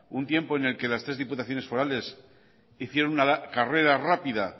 un tiempo en el que las tres diputaciones forales hicieron una carrera rápida